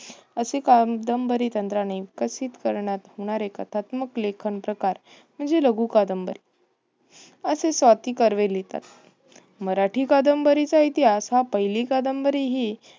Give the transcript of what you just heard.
असे कादंबरी तंत्राने विकसित करण्यात येणारे कथात्मक लेखन प्रकार म्हणजे लघु कादंबरी. असे स्वाती कर्वे लिहितात. मराठी कादंबरीचा इतिहास मराठी हा पहिली कादंबरी हि